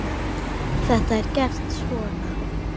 Þetta er gert svona